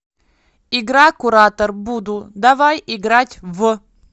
игра куратор буду давай играть в